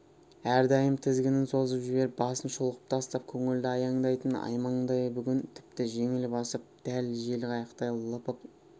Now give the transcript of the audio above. әрдайым тізгінін созып жіберіп басын шұлғып тастап көңілді аяңдайтын аймаңдай бүгін тіпті жеңіл басып дәл жел қайықтай лыпып